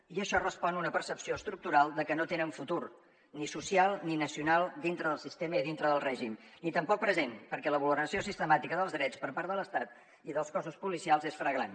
i això respon a una percepció estructural de que no tenen futur ni social ni nacional dintre del sistema i dintre del règim ni tampoc present perquè la vulneració sistemàtica dels drets per part de l’estat i dels cossos policials és flagrant